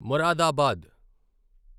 Moradabad